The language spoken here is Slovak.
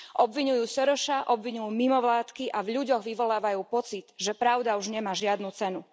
Obviňujú Sorosa, obviňujú mimovládky a v ľuďoch vyvolávajú pocit, že pravda už nemá žiadnu cenu.